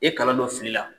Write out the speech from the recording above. I ye kalan dɔ fili la